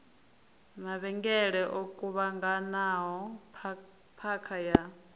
mavhengele o kuvhanganaho phakha ya